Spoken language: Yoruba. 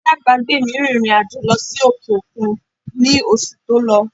Alábàágbé mi rìnrìn àjò lọ sí òkè òkun ní oṣù tó lọ